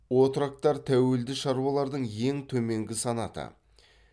отроктар тәуелді шаруалардың ең төменгі санаты